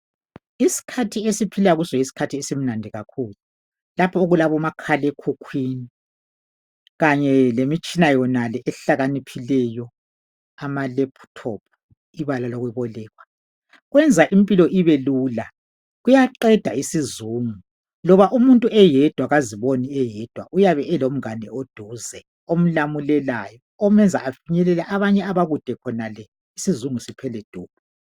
Isikhathi esiphila kuso yisikhathi esimnandi kakhulu lapho esilabomakhala ekhukhwini kanye lemiyshina yonale ehlakaniphileyo amalaptop ibala lokubolekwa kwenza impilo ibelula kuyaqeda isizungu loba umuntu eyedwa kaziboni eyedwa uyabe elomngane eduze omulamulelayo omuyenza afinyelele abanye abakude khonale isizingu siphele